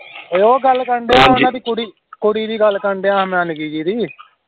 ਉਹ ਗੱਲ ਕਰਨ ਢਿਆਂ ਆ ਉਹਨਾਂ ਦੀ ਕੁੜੀ ਕੁੜੀ ਦੀ ਗੱਲ ਕਰਨ ਢਿਆਂ ਆਂ ਨਿਕੀ ਜਿਹੀ ਦੀ